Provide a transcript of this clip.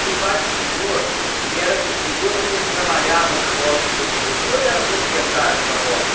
E o pai do senhor, ele era agricultor, mas ele trabalhava na roça de outra pessoa ou ele era proprietário de uma roça?